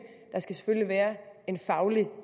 der skal selvfølgelig være en faglig